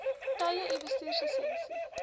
tye u bestuurslisensie